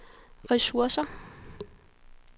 ressourcer